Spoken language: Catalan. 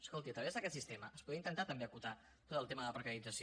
escolti a través d’aquest sistema es podria intentar també acotar tot el tema de la precarització